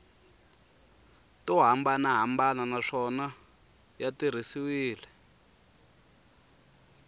to hambanahambana naswona ya tirhisiwile